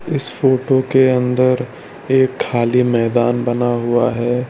इस फोटो के अंदर एक खाली मैदान बना हुआ है।